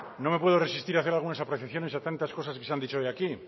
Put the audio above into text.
no me puedo resistir a hacer algunas apreciaciones a tantas cosas que se han dicho hoy aquí